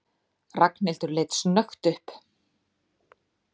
Ragnhildur leit snöggt upp.